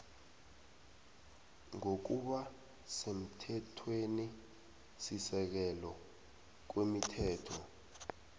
ngokuba semthethwenisisekelo kwemithetho